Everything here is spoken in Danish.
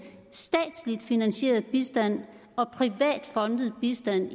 statsligt finansieret bistand og privat fondet bistand